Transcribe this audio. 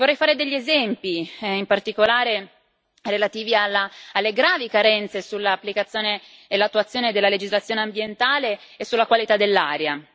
Vorrei fare degli esempi, in particolare relativi alle gravi carenze nell'applicazione e nell'attuazione della legislazione ambientale e sulla qualità dell'aria.